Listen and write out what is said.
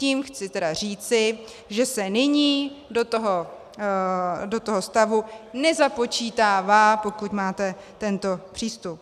Tím chci tedy říci, že se nyní do toho stavu nezapočítává, pokud máte tento přístup.